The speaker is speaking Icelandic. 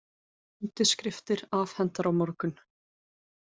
Undirskriftir afhentar á morgun